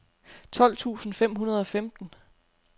tolv tusind fem hundrede og femten